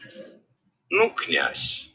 ну князь